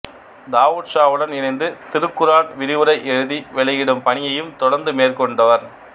தாவூத்ஷாவுடன் இணைந்து திருக்குர்ஆன் விரிவுரை எழுதி வெளியிடும் பணியையும் தொடர்ந்து மேற்கொண்டவர்